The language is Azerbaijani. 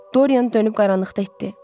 Doryan dönüb qaranlıqda itdi.